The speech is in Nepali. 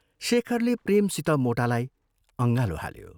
शेखरले प्रेमसित मोटालाई अँगालो हाल्यो।